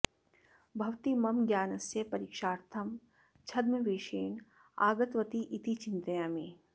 भवति मम ज्ञानस्य परीक्षार्थं छाद्मवेषेण आगतवती इति चिन्तयामि